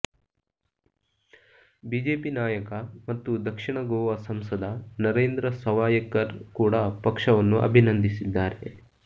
BJP ನಾಯಕ ಮತ್ತು ದಕ್ಷಿಣ ಗೋವಾ ಸಂಸದ ನರೇಂದ್ರ ಸವಾಯ್ಕರ್ ಕೂಡ ಪಕ್ಷವನ್ನು ಅಭಿನಂದಿಸಿದ್ದಾರೆ